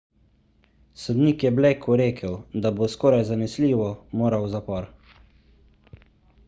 sodnik je blakeu dejal da bo skoraj zanesljivo moral v zapor